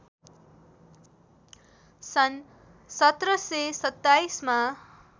सन् १७२७ मा